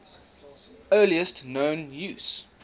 earliest known use